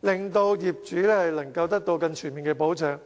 令業主獲得更全面的保障。